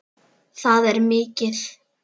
Það er mikið.